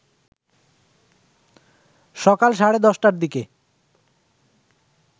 সকাল সাড়ে ১০টার দিকে